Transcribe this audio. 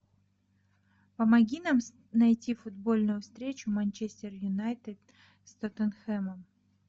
помоги нам найти футбольную встречу манчестер юнайтед с тоттенхэмом